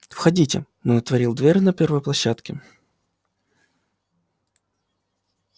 входите он отворил дверь на первой площадке